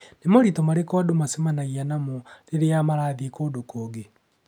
Nĩ moritũ marĩkũ andũ macemanagia namo rĩrĩa marathiĩ kũndũ kũngĩ?